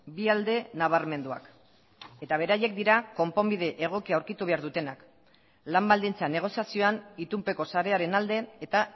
bi alde nabarmenduak eta beraiek dira konponbide egokia aurkitu behar dutenak lan baldintza negoziazioan itunpeko sarearen alde eta